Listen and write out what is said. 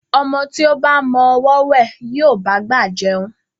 Ọmọ tí ó ba mọ ọwọ́ wẹ̀, yóò bá'gbà jẹun.